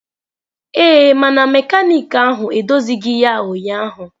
Ee, mana mekaniki ahụ edozighị ya ụnyaahụ.